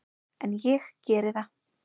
En ég geri það.